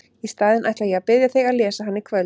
Í staðinn ætla ég að biðja þig að lesa hana í kvöld!